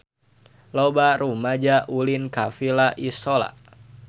Loba rumaja ulin ka Villa Isola